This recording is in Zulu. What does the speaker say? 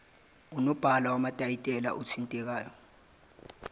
unobhala wamatayitela othintekayo